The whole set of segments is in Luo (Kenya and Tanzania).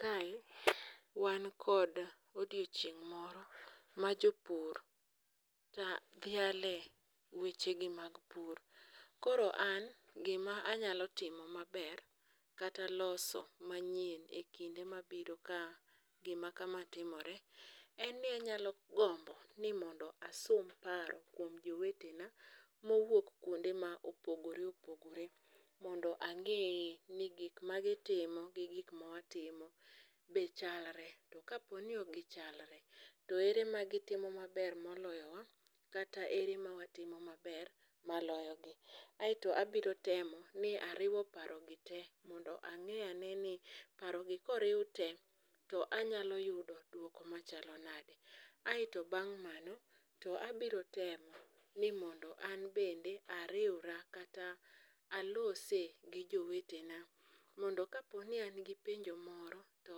Kae wan kod odieching moro ma jopur dhiale weche gi mag pur. Koro an gima anyalo time maber, kata loso mayien e kinde mabiro ka gima kama timore, en ni anyalo gombo ni mondo asum paro kuom jowetena mowuok kuonde mopogore opogore. Mondo angee ni gik magitimo gi mawatimo bende gichalre, to ka po ni ok gichalre to ere ma gitimo maber moloyowa kataere mawatimo maber maloyogi. Aetio abiro temo ni ariwo parogi te mondo abi anee ni to paro gi koriw tee to anyalo yudo duoko machalo nade, aeto bang mano to abiro temoi ni mondo an bende ariwra kata alose gi jowete na mondo ka po ni an gi penjo moro to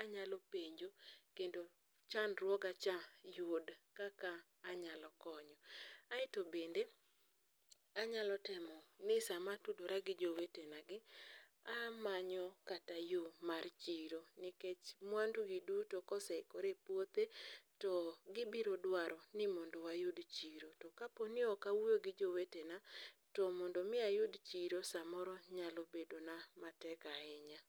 anyalo penjo kendo chand ruoga cha yud kaka anyalo konyo. Aeto bende anyalo temo ni sama atudora gi jowete na gi amanyo kata yoo mar chiro nikech mwandu gi duto ka oseikore e puothe to gibiro dwaro ni mondo wayud chiro, to ka po ni ok awuoyo gi jowetena, to mondo mi ayud chiro samoro nyalo bedo na matek ahinya